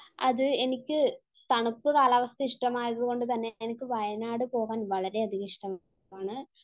അത് എനിക്ക് തണുപ്പ് കാലാവസ്ഥ ഇഷ്ടമായത് കൊണ്ട് തന്നെ എനിക്ക് വയനാട് പോവാൻ വളരെയധികം ഇഷ്ടമാണ്